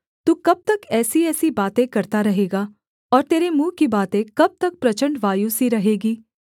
तू कब तक ऐसीऐसी बातें करता रहेगा और तेरे मुँह की बातें कब तक प्रचण्ड वायु सी रहेगी